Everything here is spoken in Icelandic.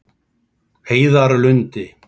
Heiðarlundi